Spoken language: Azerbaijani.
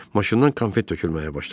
Maşından konfet tökülməyə başladı.